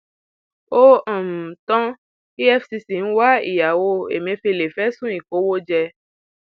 ó um tan cs] efcc ń wá ìyàwó emefèlé fẹsùn ìkówóje